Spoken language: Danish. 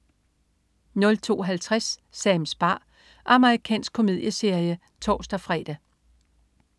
02.50 Sams bar. Amerikansk komedieserie (tors-fre)